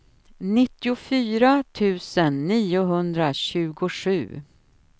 nittiofyra tusen niohundratjugosju